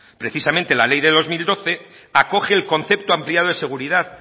precisamente la ley del dos mil doce acoge el concepto ampliado de seguridad